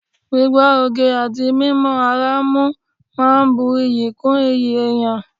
Gbígbọ́ oge àti mímọ ara mú máa ń bu iyì kún iyì èèyàn